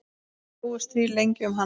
Slógust þrír lengi um hann.